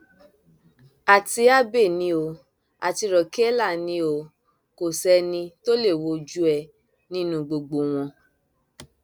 àti abbey ni o àti raquela ni o o kò sẹni tó lè wojú ẹ nínú gbogbo wọn